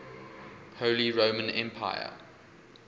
holy roman empire